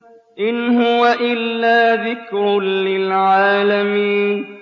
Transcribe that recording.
إِنْ هُوَ إِلَّا ذِكْرٌ لِّلْعَالَمِينَ